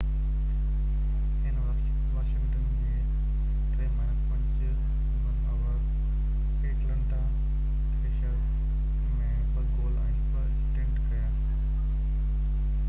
هن واشنگٽن جي 5-3 win over Atlanta Thrashers ۾ 2 goal ۽ 2 assistant ڪيا